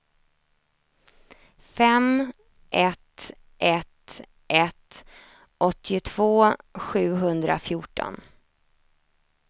fem ett ett ett åttiotvå sjuhundrafjorton